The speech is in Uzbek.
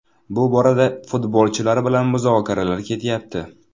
Bu borada futbolchilar bilan muzokaralar ketyapti.